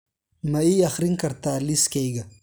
ma ii akhrin kartaa liiskayga